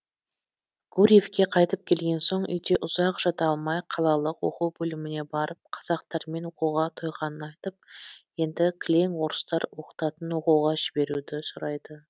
гурьевке қайтып келген соң үйде ұзақ жата алмай қалалық оқу бөліміне барып қазақтармен оқуға тойғанын айтып енді кілең орыстар оқытатын оқуға жіберуді сұрайды